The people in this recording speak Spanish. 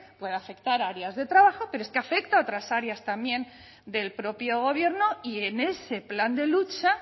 puede afectar a áreas de trabajo pero es que afecta a otras áreas también del propio gobierno y en ese plan de lucha